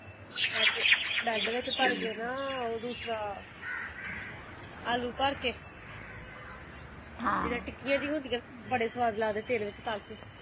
Bed ਵਿੱਚ ਭਰ ਕੇ ਨਾ ਦੂਸਰਾ ਆਲੂ ਭਰ ਕੇ ਜਿੱਦਾ ਟਿੱਕੀਆਂ ਜਿਹੀਆਂ ਹੁੰਦੀਆਂ ਬੜੇ ਸਵਾਦ ਲਗਦੇ ਤੇਲ ਵਿਚ ਤੱਲ ਕੇ।